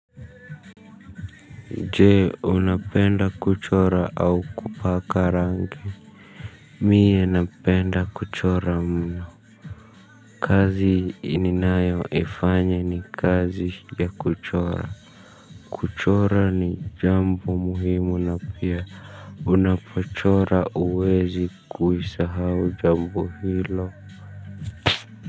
Je, unapenda kuchora au kupaka rangi? Mie napenda kuchora mno kazi ninayo ifanya ni kazi ya kuchora kuchora ni jambo muhimu na pia unapochora huwezi kuisahau jambo hilo.